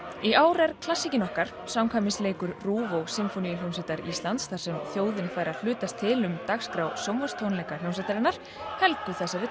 í ár er klassíkin okkar samkvæmisleikur RÚV og Sinfóníuhljómsveitar Íslands þar sem þjóðin fær að hlutast til um sjónvarps tónleika hljómsveitarinnar helguð þessari